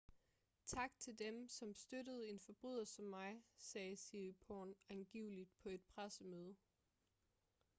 tak til dem som støttede en forbryder som mig sagde siriporn angiveligt på et pressemøde